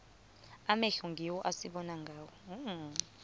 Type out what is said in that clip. amehlo ngiwo esibona ngawo